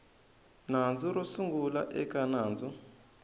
nandzu ro sungula eka nandzu